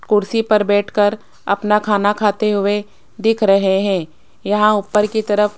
कुर्सी पर बैठकर अपना खाना खाते हुए देख रहे हैं यहां ऊपर की तरफ--